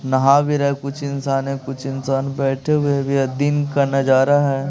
नहा भी रहे कुछ इंसान है कुछ इंसान बैठे हुए भी है दिन का नजारा है।